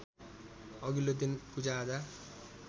अघिल्लो दिन पूजाआजा